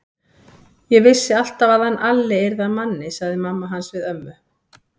Ég vissi alltaf að hann Alli yrði að manni, sagði mamma hans við ömmu.